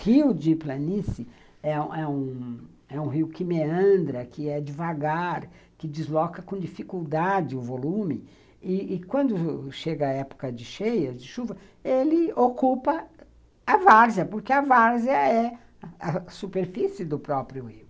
Rio de planície é um é um é um rio que meandra, que é devagar, que desloca com dificuldade o volume, e e quando chega a época de cheia, de chuva, ele ocupa a várzea, porque a várzea é a superfície do próprio rio.